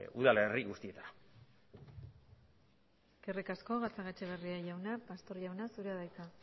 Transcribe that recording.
udalerri guztietara eskerrik asko gatzagaetxebarria jauna pastor jauna zurea da hitza